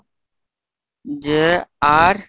jr